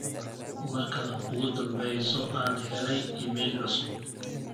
marka ugu dhambeyso aan helay iimayl cusub